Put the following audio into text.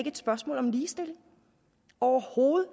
et spørgsmål om ligestilling overhovedet